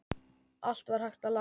Allt var hægt að laga.